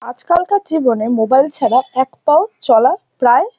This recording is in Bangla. আজকালকার জীবনে মোবাইল ছাড়া এক পাও চলা প্রায়--